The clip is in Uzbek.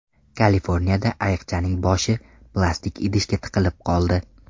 Kaliforniyada ayiqchaning boshi plastik idishga tiqilib qoldi .